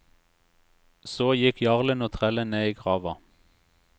Så gikk jarlen og trellen ned i grava.